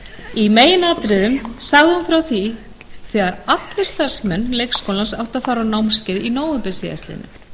í meginatriðum sagði hún frá því þegar allir starfsmenn leikskólans áttu að fara á námskeið í nóvember síðastliðinn